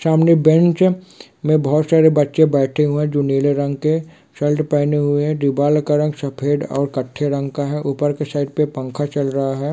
सामने बेंच है मे बहुत सारे बच्चे बेठे हुए है जो नीले रंग के शर्ट पहने हुए है दीवार का रंग सफेद ओर कत्थई रंग का है ऊपर के साइड पे पंखा चल रहा है।